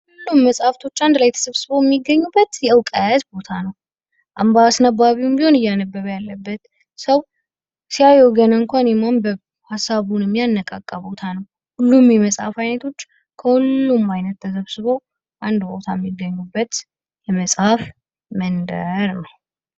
ሁሉም መጽሐፍቶች አንድ ላይ ተሰብስበው የሚገኙበት የዕውቀት ቦታ ነው። አምባ አስነባቢውም ቢሆን እያነበበ ያለበት ሰው ሲያዩ ገና እንኳን የማንበብ ሐሳቡን የሚያነቃቃ ቦታ ነው። ሁሉም የመጽሀፍ አይነቶች ከሁሉም ዓይነት ተሰብስቦ አንድ ቦታም ይገኙበት የመጽሐፍ መንደር ነው.